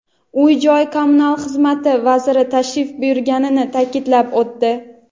Uy-joy kommunal xizmat vaziri tashrif buyurganini ta’kidlab o‘tdi.